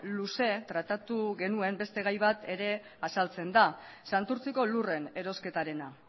luze tratatu genuen beste gai bat ere azaltzen da santurtziko lurren erosketarena